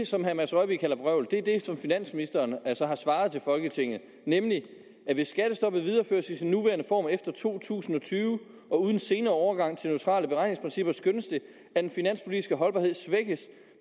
som herre mads rørvig kalder vrøvl er det som finansministeren så har svaret til folketinget nemlig at hvis skattestoppet videreføres i sin nuværende form efter to tusind og tyve og uden en senere overgang til neutrale beregningsprincipper skønnes det at den finanspolitiske holdbarhed svækkes